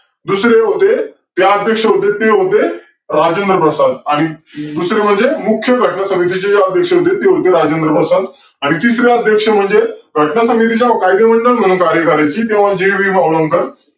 दुसरे होते ते अध्यक्ष होते ते होते राजेंद्रप्रसाद आणि दुसरे म्हणजे मुख्य घटना समितीचे अध्यक्ष होते ते म्हणजे राजेंद्रप्रसाद आणि तिसरे अध्यक्ष म्हणजे घटना समितीच्या कायदेमंडळ म्हणून झाले तेव्हा जे. बी. भावांकर